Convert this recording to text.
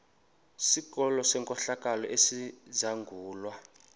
sikolo senkohlakalo esizangulwa